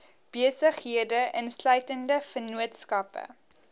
besighede insluitende vennootskappe